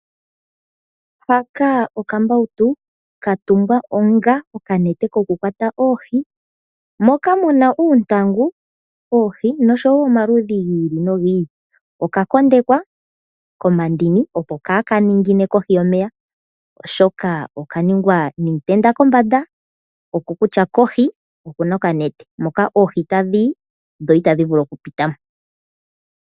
Haka okambautu katungwa onga okanete ko ku kwata oohi. Moka muna uuntangu, oohi nosho woo omaludhi gi i li no gi i li. Oka kondekwa nomandini opo kaa ka ningine kohi yomeya, oshoka oka ningwa niitenda kombanda oko kutya kohi oku na oka nete moka oohi tadhi yi ndele itadhi vulu okupita mo.